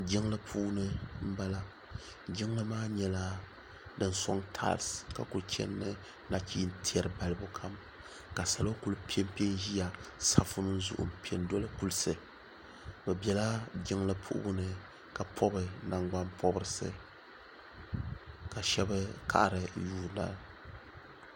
jinli puuni bala jinli maa nyɛla din soŋ talisi kuli chimi nachim tɛri balibu ka salo kuli pɛnpɛ n ʒɛya saƒɔ nim zuɣ doli kulisi be bɛla jinli puuni ka pobi nagbanpɔrigu ka shɛbi laɣiri yuna